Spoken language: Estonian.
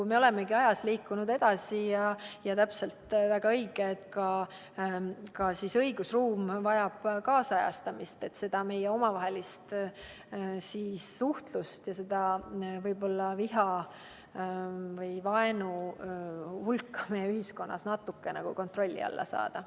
Me olemegi ajas edasi liikunud ning on väga õige, et ka õigusruum vajab kaasajastamist, et meie omavaheline suhtlus ja viha või vaenu hulk ühiskonnas natukenegi kontrolli alla saada.